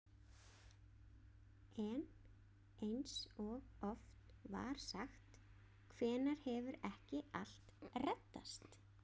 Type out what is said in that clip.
En eins og oft var sagt: hvenær hefur ekki allt reddast?